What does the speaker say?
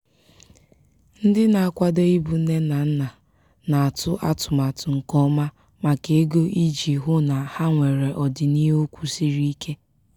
ndị na-akwado ịbụ nne na nna na-atụ atụmatụ nke ọma maka ego iji hụ na ha nwere ọdịniihu kwụsiri ike.